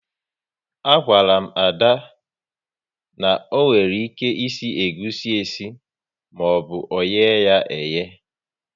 A gwaru m Ada, na onwere ike isi egusi esi maọbụ oye ya eye